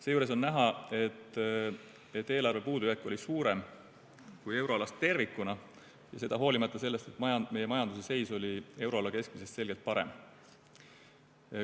Seejuures on näha, et eelarve puudujääk oli suurem kui euroalal tervikuna, seda hoolimata sellest, et meie majanduse seis oli euroala keskmisest selgem parem.